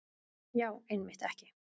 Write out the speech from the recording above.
Já, einmitt ekki.